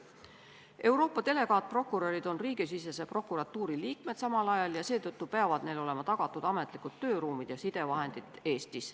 Euroopa delegaatprokurörid on samal ajal riigisisese prokuratuuri liikmed, seetõttu peavad neile olema Eestis tagatud ametlikud tööruumid ja sidevahendid.